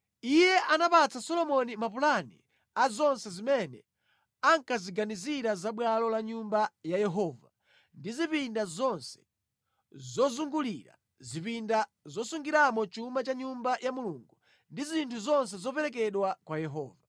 Iye anapatsa Solomoni mapulani a zonse zimene ankaziganizira za bwalo la Nyumba ya Yehova ndi zipinda zonse zozungulira, zipinda zosungiramo chuma cha Nyumba ya Mulungu ndi zinthu zoperekedwa kwa Yehova.